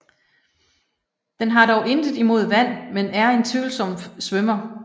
Den har dog intet imod vand men er en tvivlsom svømmer